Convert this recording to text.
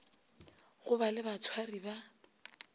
go ba le batshwari ba